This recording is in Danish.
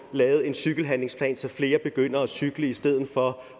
lavet en cykelhandlingsplan så flere begynder at cykle i stedet for